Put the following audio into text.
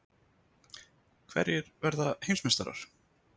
Hverjir verða Heimsmeistarar?